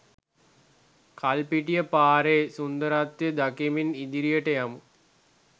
කල්පිටිය පාරේ සුන්දරත්වය දකිමින් ඉදිරියට යමු.